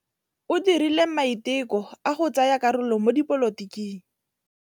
O dirile maitekô a go tsaya karolo mo dipolotiking.